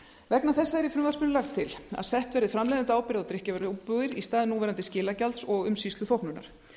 vegna þessa er í frumvarpinu lagt til að sett verði framleiðendaábyrgð á drykkjarvöruumbúðir í stað núverandi skilagjalds og umsýsluþóknunar